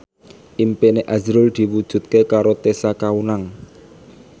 impine azrul diwujudke karo Tessa Kaunang